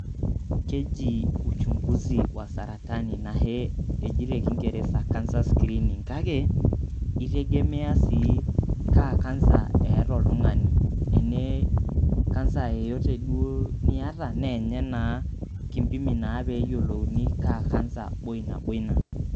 Keji uchunguzi wa saratani anahe eji te kingereza cancer screening kake, itegemea sii kaa kansa eeta oltung'ani, enee kansa yeyote duo niyata naa nye naa kimpimi naa pee eyolouni ajo kaa kansa boi nabo ina.